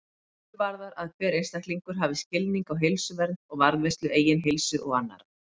Miklu varðar að hver einstaklingur hafi skilning á heilsuvernd og varðveislu eigin heilsu og annarra.